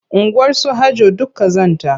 Unguwarsu Hajjo duk ƙazanta.